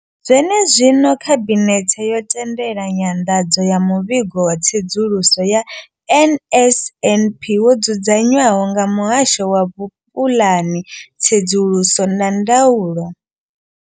Zwenezwino, khabinethe yo tendela nyanḓadzo ya muvhigo wa tsedzuluso ya NSNP wo dzudzanywaho nga muhasho wa vhupulani, tsedzuluso na ndaulo.